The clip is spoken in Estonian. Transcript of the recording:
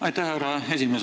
Aitäh, härra esimees!